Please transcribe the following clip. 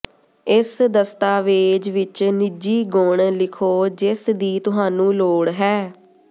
ਇਸ ਦਸਤਾਵੇਜ ਵਿਚ ਨਿੱਜੀ ਗੁਣ ਲਿਖੋ ਜਿਸ ਦੀ ਤੁਹਾਨੂੰ ਲੋੜ ਹੈ